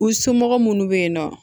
U somɔgɔ minnu bɛ yen nɔ